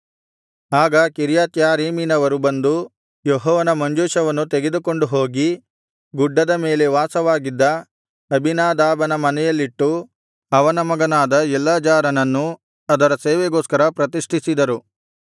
ಆಗ ಕಿರ್ಯತ್ಯಾರೀಮಿನವರು ಬಂದು ಯೆಹೋವನ ಮಂಜೂಷವನ್ನು ತೆಗೆದುಕೊಂಡು ಹೋಗಿ ಗುಡ್ಡದ ಮೇಲೆ ವಾಸವಾಗಿದ್ದ ಅಬೀನಾದಾಬನ ಮನೆಯಲ್ಲಿಟ್ಟು ಅವನ ಮಗನಾದ ಎಲ್ಲಾಜಾರನನ್ನು ಅದರ ಸೇವೆಗೋಸ್ಕರ ಪ್ರತಿಷ್ಠಿಸಿದರು